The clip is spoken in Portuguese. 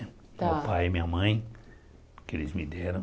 Meu pai e minha mãe, que eles me deram.